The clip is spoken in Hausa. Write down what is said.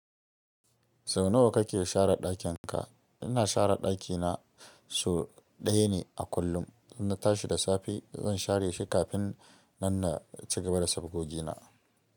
Sau nawa kake share ɗakin ka? Ina share ɗakina sau ɗaya ne a kullum. In na tashi da safe, zan share shi kafin nan na ci gaba da safgogina.